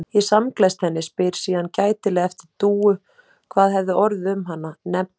Ég samgleðst henni, spyr síðan gætilega eftir Dúu, hvað hafi orðið um hana, nefni ekki